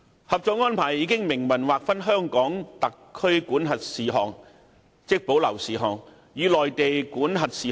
《合作安排》已明文劃分在內地口岸區內，屬香港特區管轄的事項和屬內地管轄的事項。